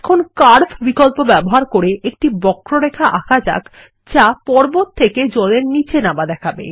এখন কার্ভ বিকল্প ব্যবহার করে একটি বক্ররেখা আঁকা যাক যা পর্বত থেকে জলের নীচে নামা দেখাবে